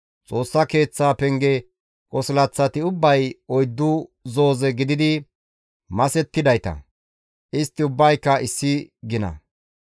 Xoossa Keeththaa penge qosilaththati ubbay oyddu zooze gididi masettidayta; istti ubbayka issi gina.